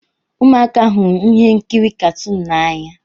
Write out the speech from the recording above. Ụmụaka hụrụ ihe nkiri katuun n'anya.